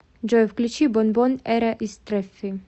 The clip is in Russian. джой включи бонбон эра истрефи